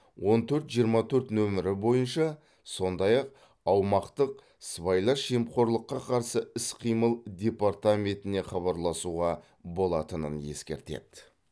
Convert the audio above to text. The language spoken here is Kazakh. он төрт жиырма төрт нөмірі бойынша сондай ақ аумақтық сыбайлас жемқорлыққа қарсы іс қимыл департаментіне хабарласуға болатынын ескертеді